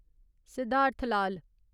Siddharth Lal